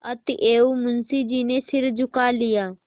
अतएव मुंशी जी ने सिर झुका लिया